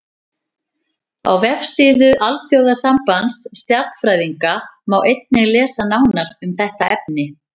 Á vefsíðu Alþjóðasambands stjarnfræðinga má einnig lesa nánar um þetta efni.